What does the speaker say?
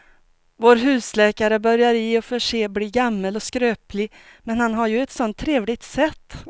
Vår husläkare börjar i och för sig bli gammal och skröplig, men han har ju ett sådant trevligt sätt!